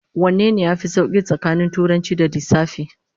Wanne yafi sauki tsakanin Turanci da Lissafi?